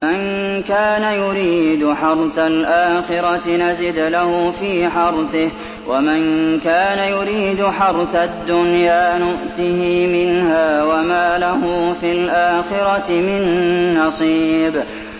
مَن كَانَ يُرِيدُ حَرْثَ الْآخِرَةِ نَزِدْ لَهُ فِي حَرْثِهِ ۖ وَمَن كَانَ يُرِيدُ حَرْثَ الدُّنْيَا نُؤْتِهِ مِنْهَا وَمَا لَهُ فِي الْآخِرَةِ مِن نَّصِيبٍ